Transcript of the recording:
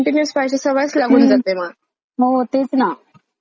हो तेच ना. ते पण कुठेतरी कमी पाहिजे.